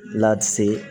Lati